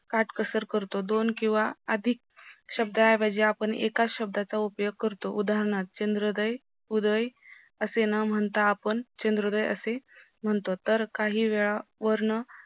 काटकसर करतो दोन किव्हा अधिक शब्द ऐवजी आपण एकाच शब्दाचा उपयोग करतो उदानहार्थ चंद्रोदय उदय असे न म्हणता आपण चंद्रोदय असे म्हणतो तर काही वेळा वरण